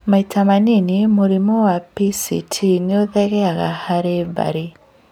Maita manini, mũrimũ wa PCT nĩũthegeaga harĩ bamĩrĩ